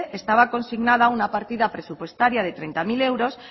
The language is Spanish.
estaba consignada una partida presupuestaria de treinta mil euros